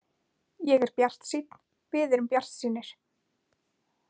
Ég er bjartsýnn, við erum bjartsýnir.